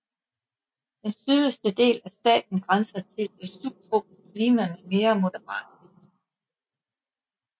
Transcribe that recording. Den sydligste del af staten grænser til et subtropisk klima med mere moderate vintre